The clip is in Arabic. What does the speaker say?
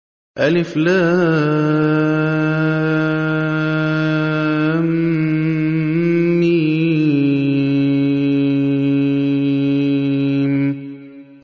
الم